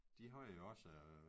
De har jo også